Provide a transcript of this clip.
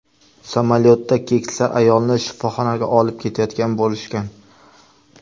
Samolyotda keksa ayolni shifoxonaga olib ketayotgan bo‘lishgan.